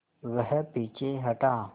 वह पीछे हटा